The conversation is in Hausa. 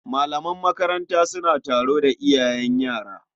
Malaman makaranta suna taro da iyayen yara.